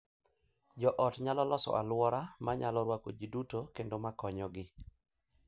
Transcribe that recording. Jo ot nyalo loso alwora ma nyalo rwako ji duto kendo ma konyogi.